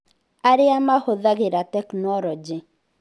Arĩa Mahũthagĩra Tekinoronjĩ: